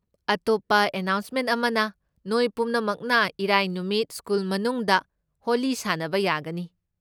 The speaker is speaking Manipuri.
ꯑꯇꯣꯞꯄ ꯑꯅꯥꯎꯟꯁꯃꯦꯟ ꯑꯃꯅ, ꯅꯣꯏ ꯄꯨꯝꯅꯃꯛꯅ ꯏꯔꯥꯏ ꯅꯨꯃꯠ ꯁ꯭ꯀꯨꯜ ꯃꯅꯨꯡꯗ ꯍꯣꯂꯤ ꯁꯥꯅꯕ ꯌꯥꯒꯅꯤ꯫